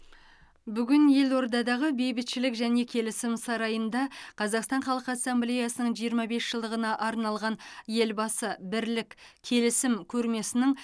бүгін елордадағы бейбітшілік және келісім сарайында қазақстан халқы ассамблеясының жиырма бес жылдығына арналған елбасы бірлік келісім көрмесінің